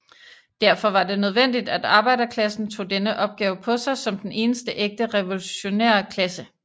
Derfor var det nødvendigt at arbejderklassen tog denne opgave på sig som den eneste ægte revolutionære klasse